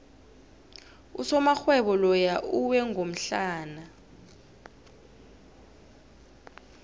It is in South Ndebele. usomarhwebo loya uwe ngomhlana